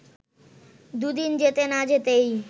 দু’দিন যেতে না যেতেই